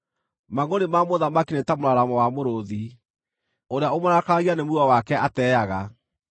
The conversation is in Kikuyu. Mangʼũrĩ ma mũthamaki nĩ ta mũraramo wa mũrũũthi; ũrĩa ũmũrakaragia nĩ muoyo wake ateaga.